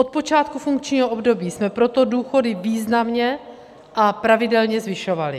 Od počátku funkčního období jsme proto důchody významně a pravidelně zvyšovali.